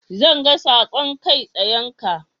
Zan ga saƙon kai tsayenka.